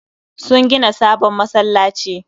Sun gina sabon masallaci